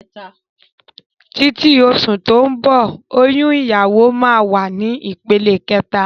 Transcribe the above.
Títí oṣù tó ń bọ̀ oyún ìyàwó máa wà ní ìpele kẹta